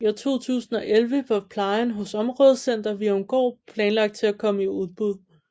I 2011 var plejen hos Områdecenter Virumgård planlagt til at komme i udbud